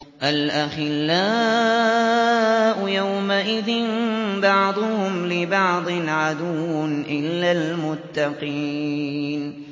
الْأَخِلَّاءُ يَوْمَئِذٍ بَعْضُهُمْ لِبَعْضٍ عَدُوٌّ إِلَّا الْمُتَّقِينَ